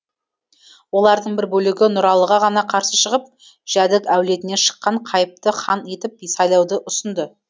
олардың бір бөлігі нұралыға ғана қарсы шығып жәдік әулетінен шыққан қайыпты хан етіп сайлауды ұсынды